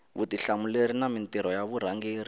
vutihlamuleri na mintirho ya varhangeri